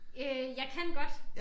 Øh jeg kan godt